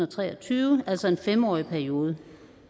tre og tyve altså en fem årig periode